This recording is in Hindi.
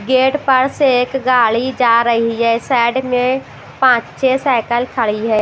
गेट पर से एक गाड़ी जा रही है साइड में पांच छह साइकिल खड़ी है।